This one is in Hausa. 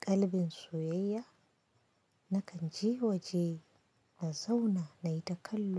ƙalbin soyayya, nakan je waje na zauna nayi ta kallo.